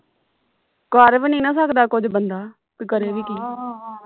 ਕਰ ਵੀ ਨਹੀਂ ਨਾ ਸਕਦਾ ਕੁਛ ਬੰਦਾ ਤੇ ਕਰੇ ਵੀ ਕੀ